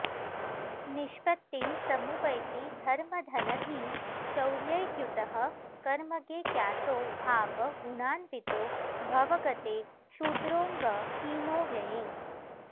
निष्पत्तिं समुपैति धर्मधनधी शौर्यैर्युतः कर्मगे क्यातो भाव गुणान्वितो भव गते क्षुद्रोऽङ्ग हीनो व्यये